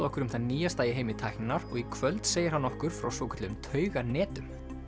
okkur um það nýjasta í heimi tækninnar og í kvöld segir hann okkur frá svokölluðum tauganetum í